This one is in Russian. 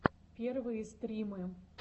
первые стримы